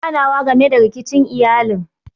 Za ayi ganawa game da rikicin iyalin.